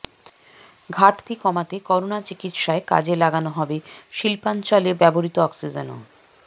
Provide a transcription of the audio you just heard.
ঘাটতি কমাতে করোনা চিকিৎসায় কাজে লাগানো হবে শিল্পাঞ্চলে ব্যবহৃত অক্সিজেনও